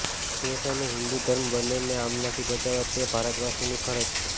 દેશ અને હિંદુ ધર્મ બંનેને આમનાથી બચાવવા તે ભારતવાસીની ફરજ છે